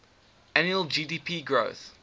annual gdp growth